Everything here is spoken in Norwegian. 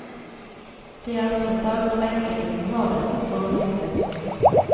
Det er tross alt enkelte som har dette som arbeidssted.